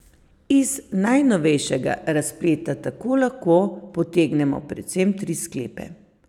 Iz najnovejšega razpleta tako lahko potegnemo predvsem tri sklepe.